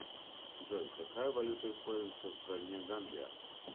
джой какая валюта используется в стране гамбия